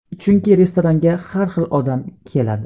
Chunki restoranga har xil odam keladi.